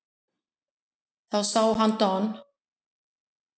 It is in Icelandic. Þá sá hann Don